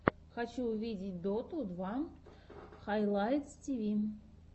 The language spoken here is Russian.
хочу увидеть доту два хайлайтс тиви